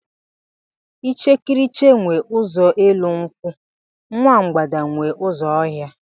Ichekiriche nwe ụzọ elu nkwụ, nwa mgbada nwe ụzọ ọhịa.